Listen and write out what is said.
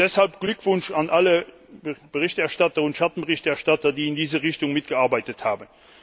Und deshalb Glückwunsch an alle Berichterstatter und Schattenberichterstatter, die in diese Richtung mitgearbeitet haben!